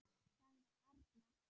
sagði arnar.